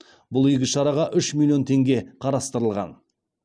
бұл игі шараға үш миллион теңге қарастырылған